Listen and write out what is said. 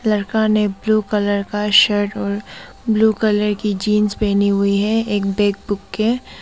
लड़का ने blue colour का शर्ट और ब्लू कलर की जींस पहनी हुई है एक बैग बुक है।